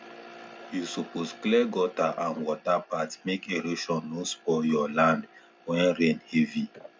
you suppose clear gutter and water path make erosion no spoil your land when rain heavy